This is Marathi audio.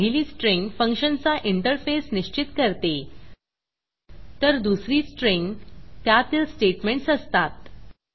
पहिली स्ट्रिंग फंक्शनचा इंटरफेस निश्चित करते तर दुसरी स्ट्रिंग त्यातील स्टेटमेंटस असतात